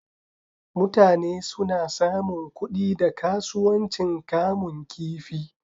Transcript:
Mutane suna samun kuɗi da kasuwancin kamun kifi.